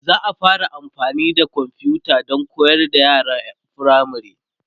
za'a fara amfani da komfuta Dan koyar da yaran firamare